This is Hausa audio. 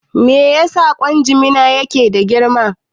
Me yasa ƙwan jimina yake da girma?